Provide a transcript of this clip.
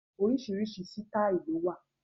Oríṣiríṣi sitai ló wà.